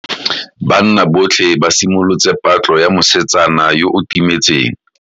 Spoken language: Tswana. Banna botlhe ba simolotse patlo ya mosetsana yo o timetseng.